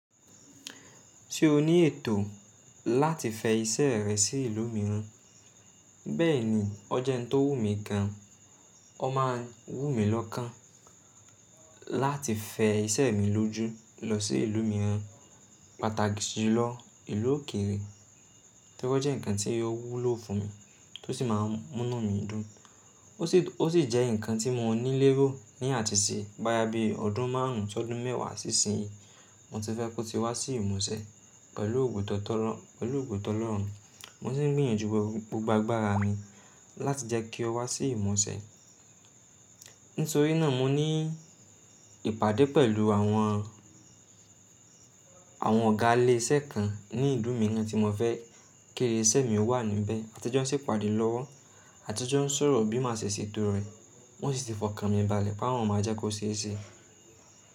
Tí o ní ètò láti fẹ iṣẹ́ rẹ sí ìlú mìíràn, bẹ́ẹ̀ ni ọ̀jẹ̀un tó wù mí gan, ọ máa wù mí lọ́kàn láti fẹ iṣẹ́ mi lójú lọ sí ìlú mìíràn, pàtàkì jùlọ ìlú òkèèrè tí ó jẹ́ ǹkan tí yó wúlò fún mi tó sì máa ń múnú mi dùn. Ó sì jẹ́ ǹkan tí mo ní léro ní àtisẹ̀ boya bí ọdún márùn ún sí ọdún mẹ́wàá sí ìsinyìí mo ti fẹ́ kó ti wá sí ìmúṣẹ pẹ̀lú ògo tọ̀lọ́ọ̀rùn, mo sì ń gbìyànjú gbogbo agbára mi láti jẹ́ kí o wá sí ìmúṣẹ. Nítorí náà mo ní ìpàdé pẹ̀lú àwọn ọ̀gá ilé iṣẹ́ kan ní ìlú mìíràn tí mo fẹ́ kí eré iṣẹ́ mi wà níbẹ̀, àtun jo n se pàdé lọ́wọ́, àtun jo n sọ̀rọ̀ bí má ṣè ṣetó rẹ̀ wọ́n sì ti fọkàn mi ìbàlẹ̀ pé àwọn máa jẹ́ kó ṣe é ṣe.